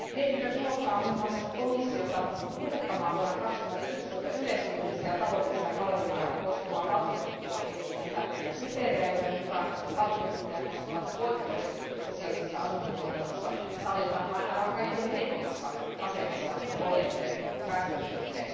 Mietintö kehottaa muun muassa komissiota muuttamaan vuonna 2011 yleishyödyllisiä taloudellisia palveluja koskevaa valtiontukipakettiin sisältyviä kriteerejä, joiden mukaan valtiontukea koskevat poikkeukset sosiaalisessa asuntotuotannossa sallitaan vain aivan kaikkein heikoimmassa asemassa oleville väestöryhmille.